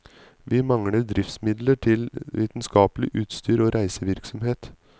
Vi mangler driftsmidler til vitenskapelig utstyr og reisevirksomhet.